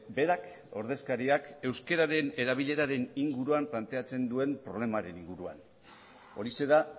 berak ordezkariak euskararen erabileraren inguruan planteatzen duen problemaren inguruan horixe da